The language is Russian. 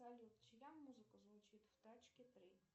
салют чья музыка звучит в тачки три